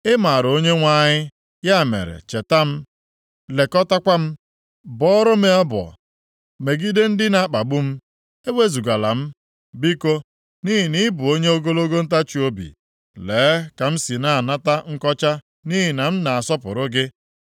Ị maara O Onyenwe anyị, ya mere cheta m, lekọtaakwa m. Bọọrọ m ọbọ megide ndị na-akpagbu m. Ewezugala m, biko, nʼihi na ị bụ onye ogologo ntachiobi. Lee ka m si na-anata nkọcha nʼihi na m na-asọpụrụ gị.